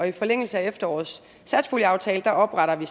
i forlængelse af efterårets satspuljeaftale opretter vi